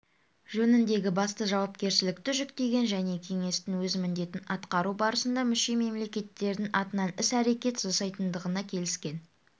жөніндегі басты жауапкершілікті жүктеген және кеңестің өз міндетін атқару барысында мүше-мемлекеттердің атынан іс-әрекет жасайтындығына келіскен